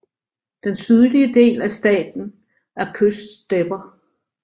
Den sydlige del af staten er kyststepper